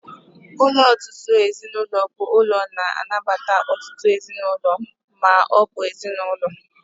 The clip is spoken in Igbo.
Ụlọ ọtụtụ ezinụlọ bụ ụlọ na-anabata ọtụtụ ezinụlọ ma ọ bụ ezinụlọ.